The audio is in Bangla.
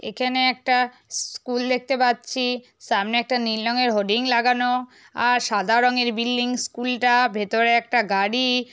এখানে একটা স্কুল দেখতে পাচ্ছি সামনে একটা নীল রঙের হোডিং লাগানো আর সাদা রঙের বিল্ডিং স্কুল টা ভেতরে একটা গাড়ি।